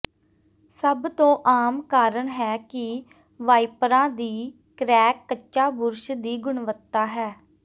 ਸਭ ਤੋਂ ਆਮ ਕਾਰਨ ਹੈ ਕਿ ਵਾਈਪਰਾਂ ਦੀ ਕ੍ਰੈਕ ਕੱਚਾ ਬੁਰਸ਼ ਦੀ ਗੁਣਵੱਤਾ ਹੈ